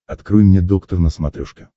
открой мне доктор на смотрешке